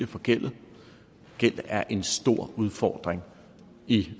forgældet gæld er en stor udfordring i